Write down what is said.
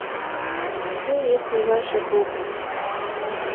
где есть ближайший клуб